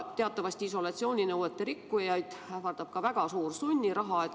Teatavasti isolatsiooninõuete rikkujaid ähvardab ka väga suur sunniraha.